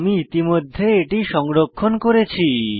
আমি ইতিমধ্যে এটি সংরক্ষণ করেছি